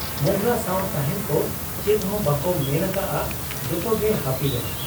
ᱢᱚᱸᱜᱽᱞᱟ ᱥᱟᱶ ᱛᱟᱦᱮᱸᱱ ᱠᱚ ᱪᱮᱫᱦᱚᱸ ᱵᱟᱠᱚ ᱢᱮᱱ ᱟᱠᱟᱜ ᱟ ᱾ ᱡᱚᱛᱚᱜᱮ ᱦᱟᱹᱯᱤᱨᱮ ᱾